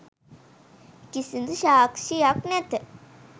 කිසිදු සාක්‍ෂියක් නැත.